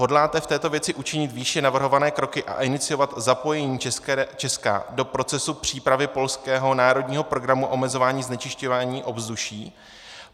Hodláte v této věci učinit výše navrhované kroky a iniciovat zapojení Česka do procesu přípravy polského národního programu omezování znečišťování ovzduší?